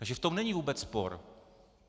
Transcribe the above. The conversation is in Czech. Takže v tom není vůbec spor.